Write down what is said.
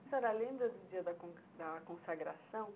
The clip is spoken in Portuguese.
Senhora, lembra do dia da da consagração?